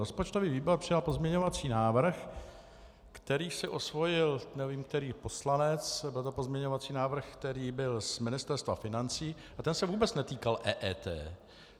Rozpočtový výbor přijal pozměňovací návrh, který si osvojil nevím který poslanec, byl to pozměňovací návrh, který byl z Ministerstva financí, a ten se vůbec netýkal EET.